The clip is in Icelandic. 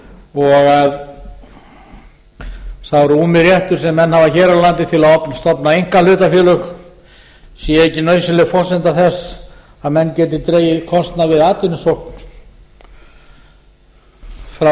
og að sá rúmi réttur sem menn hafa hér á landi til að stofna einkahlutafélög sé ekki nauðsynleg forsenda þess að menn geti dregið kostnað við atvinnusókn frá